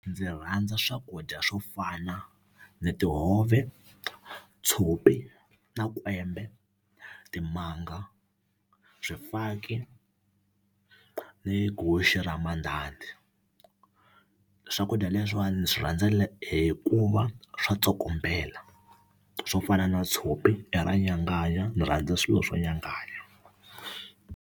Ndzi rhandza swakudya swo fana ni tihove tshopi na kwembe timanga swifaki ni guxe ra mandhandha swakudya leswiwani swi rhandzela hikuva swa tsokombela swo fana na tshopi ra nyanganya ndzi rhandza swilo swo nyanganya.